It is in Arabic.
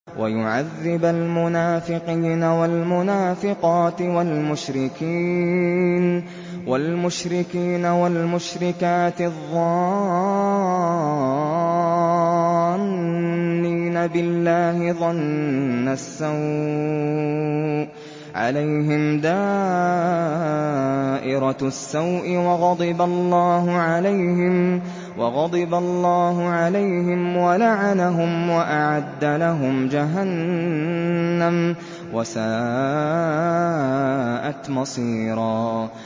وَيُعَذِّبَ الْمُنَافِقِينَ وَالْمُنَافِقَاتِ وَالْمُشْرِكِينَ وَالْمُشْرِكَاتِ الظَّانِّينَ بِاللَّهِ ظَنَّ السَّوْءِ ۚ عَلَيْهِمْ دَائِرَةُ السَّوْءِ ۖ وَغَضِبَ اللَّهُ عَلَيْهِمْ وَلَعَنَهُمْ وَأَعَدَّ لَهُمْ جَهَنَّمَ ۖ وَسَاءَتْ مَصِيرًا